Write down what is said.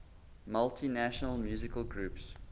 multinational musical groups